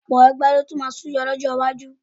Ọ̀pọ̀ ẹgbẹ́ ló tún máa súyọ lọ́jọ́ iwájú